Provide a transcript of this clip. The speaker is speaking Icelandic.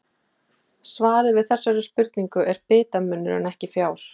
Svarið við þessari spurningu er bitamunur en ekki fjár.